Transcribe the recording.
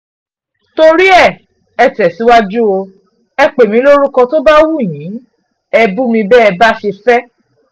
torí ẹ̀ ẹ́ tẹ̀síwájú o ẹ pè mí lórúkọ tó bá wù yín ẹ́ bù mí bẹ́ẹ̀ bá ṣe fẹ́